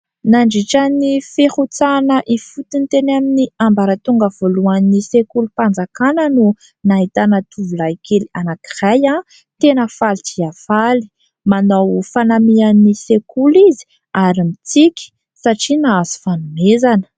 Nandritran'ny firotsahana hifotony teny ambaratonga voalohan'ny sekolim-panjakana no nahitana tovolahy kely anankiray, tena faly dia faly, manao fanamian'ny sekoly izy ary mitsiky satria nahazo fanomezana.